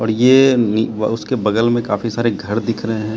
और ये अह उसके बगल में काफी सारे घर दिख रहे हैं।